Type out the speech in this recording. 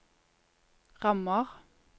rammer